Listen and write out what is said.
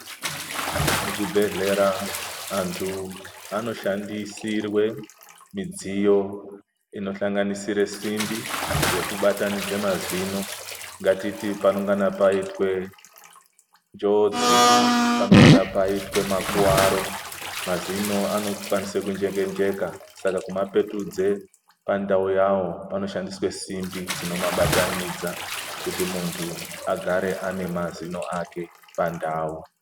Muzvibhedhlera antu anoshandisirwa mudziyo inosanganisira simbi dzekugeza mazino ngatiti panongana paitwa njodzi panongana paitwa makuwa aro mazino anokwanisa kunjeka njeka Saka kumapetudza pandau yawo panoshandiswa simbi dzinomabatanidza kuti muntu agare mazino ake Ari pandau.